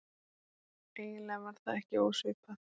Eiginlega var það ekki ósvipað